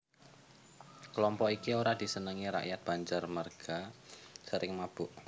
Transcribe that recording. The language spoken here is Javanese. Kelompok iki ora disenengi rakyat Banjar merga sering mabok